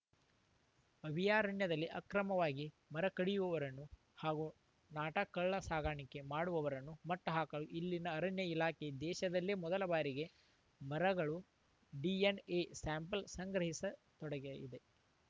ಅಭಯಾರಣ್ಯದಲ್ಲಿ ಅಕ್ರಮವಾಗಿ ಮರ ಕಡಿಯುವವರನ್ನು ಹಾಗೂ ನಾಟಾ ಕಳ್ಳಸಾಗಣೆ ಮಾಡುವವರನ್ನು ಮಟ್ಟಹಾಕಲು ಇಲ್ಲಿನ ಅರಣ್ಯ ಇಲಾಖೆ ದೇಶದಲ್ಲೇ ಮೊದಲ ಬಾರಿಗೆ ಮರಗಳ ಡಿಎನ್‌ಎ ಸ್ಯಾಂಪಲ್‌ ಸಂಗ್ರಹಿಸ ತೊಡಗಯಿದೆ